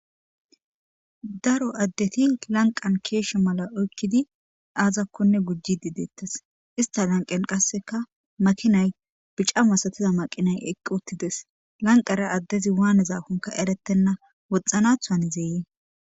daro addeti lanqan keeshsha mala oykkidi aazakkonne gujji dideettes ista lanqen qasseka makinay bica masatiza maqinay eqqi uttides lanqara addezi waanezafonka erettenna woxxanathuan zeeyee